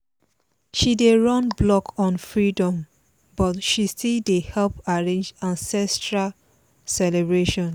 she dey run blog on freedom but she still dey help arrange ancestral celebration